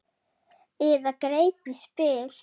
Eða greip í spil.